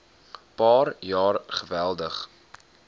paar jaar geweldig